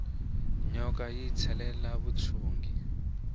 nyoka yi ntsetela vuxungi